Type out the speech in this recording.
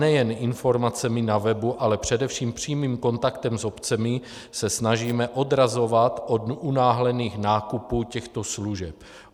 Nejen informacemi na webu, ale především přímým kontaktem s obcemi se snažíme odrazovat od unáhlených nákupů těchto služeb.